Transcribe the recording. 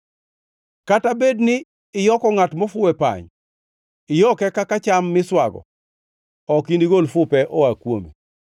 Kata bed ni iyoko ngʼat mofuwo e pany, iyoke kaka cham miswago, ok inigol fupe oa kuome.